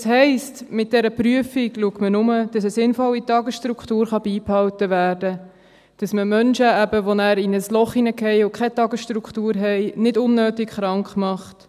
Das heisst, mit dieser Prüfung schaut man nur, dass eine sinnvolle Tagesstruktur beibehalten werden kann, dass man Menschen, die eben nachher in ein Loch fallen und keine Tagesstruktur haben, nicht unnötig krank macht.